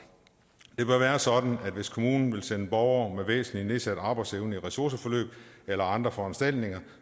det bør være sådan at hvis kommunen vil sende borgere med væsentlig nedsat arbejdsevne i ressourceforløb eller andre foranstaltninger